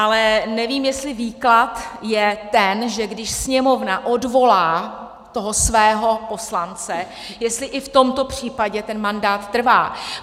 Ale nevím, jestli výklad je ten, že když Sněmovna odvolá toho svého poslance, jestli i v tomto případě ten mandát trvá.